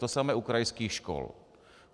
To samé u krajských škol.